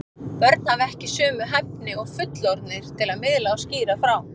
Börn hafa ekki sömu hæfni og fullorðnir til að miðla og skýra frá.